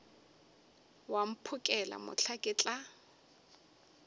wa mphokela mohla ke tla